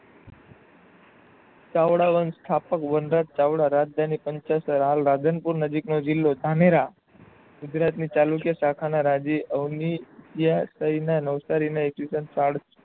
ચાવડા વન્સ સ્થપનાક વનરાજ ચાવડા રાજધાની પંચષ હાલ રાજનપુર નજીક નો જિલ્લો ધાનેરા ગુજરાતની ચણૂકય રાજવી અવની માં નવસારી નો ઇશવીશન